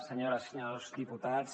senyores i senyors diputats